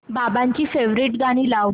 बाबांची फेवरिट गाणी लाव